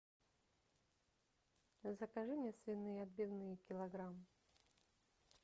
закажи мне свиные отбивные килограмм